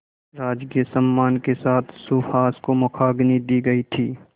राजकीय सम्मान के साथ सुहास को मुखाग्नि दी गई थी